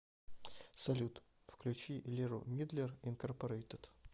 салют включи леру мидлер инкорпорейтед